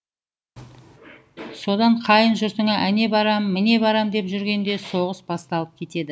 содан қайын жұртына әне барам міне барам деп жүргенде соғыс басталып кетеді